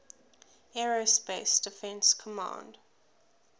aerospace defense command